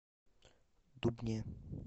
дубне